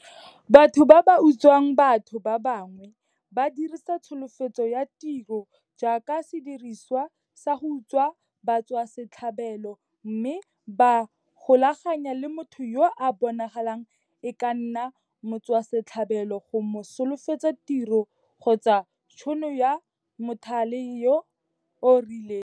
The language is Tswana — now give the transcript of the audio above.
Batho ba ba utswang batho ba bangwe ba dirisa tsholofetso ya tiro jaaka sedirisiwa sa go utswa batswasetlhabelo mme ba ikgolaganya le motho yo a bonagalang e ka nna motswasetlhabelo go mo solofetsa tiro kgotsa tšhono ya mothale yo o rileng.